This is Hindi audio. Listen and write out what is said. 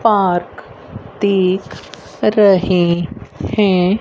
पार्क दिख रहे हैं।